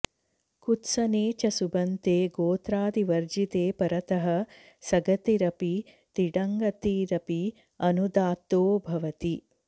कुत्सने च सुबन्ते गोत्रादिवर्जिते परतः सगतिरपि तिङगतिरपि अनुदात्तो भवति